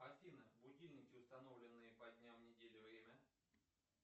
афина будильники установленные по дням недели время